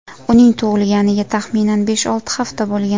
Uning tug‘ilganiga taxminan besh-olti hafta bo‘lgan.